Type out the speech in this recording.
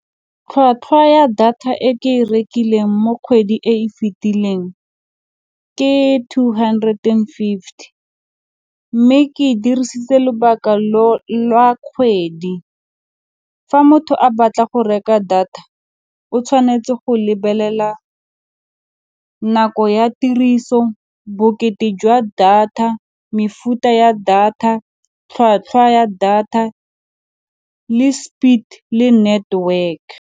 Tlhwatlhwa ya data e ke e rekileng mo kgwedi e fitileng ke two hundred and fifty, mme ke dirisitse lobaka lwa kgwedi. Fa motho a batla go reka data o tshwanetse go lebelela nako ya tiriso, bokete jwa data, mefuta ya data, tlhwatlhwa ya data le speed le network.